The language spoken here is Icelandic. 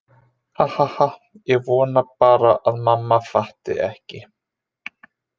Ha ha ha- ég vona bara að mamma fatti ekki.